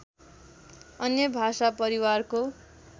अन्य भाषा परिवारको